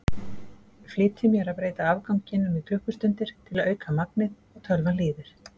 Flýti mér að breyta afganginum í klukkustundir til að auka magnið og tölvan hlýðir.